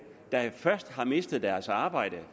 der først har mistet deres arbejde